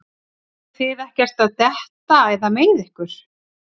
Eruð þið ekkert að detta eða meiða ykkur?